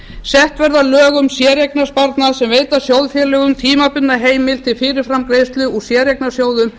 sett verða lög um séreignarsparnað sem veita sjóðfélögum tímabundna heimild til fyrirframgreiðslu úr séreignarsjóðum